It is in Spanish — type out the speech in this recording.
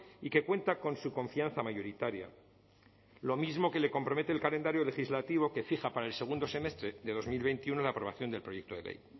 y que cuenta con su confianza mayoritaria lo mismo que le compromete el calendario legislativo que fija para el segundo semestre de dos mil veintiuno la aprobación del proyecto de ley